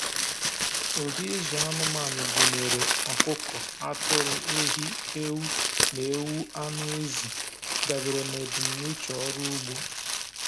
Ụdị ịzụ anụmanụ gụnyere ọkụkọ, atụrụ, ehi, ewu, na ewu anụ ezi, dabere na ebumnuche ọrụ ugbo.